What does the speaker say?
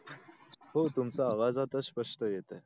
हो तुमचं आवाज आता स्पष्ट येतोय